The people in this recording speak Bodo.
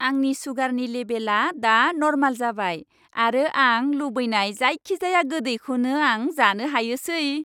आंनि सुगारनि लेबेलआ दा नर्माल जाबाय आरो आं लुबैनाय जायखिजाया गोदैखौनो आं जानो हायोसै।